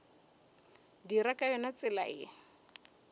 dira ka yona tsela ye